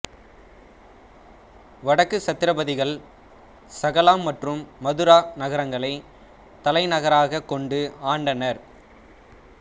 வடக்கு சத்திரபதிகள் சகலா மற்றும் மதுரா நகரங்களை தலைநகராகக் கொண்டு ஆண்டனர்